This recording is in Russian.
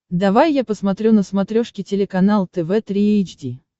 давай я посмотрю на смотрешке телеканал тв три эйч ди